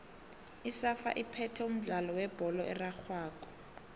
isafa iphethe umdlalo webholo erarhwako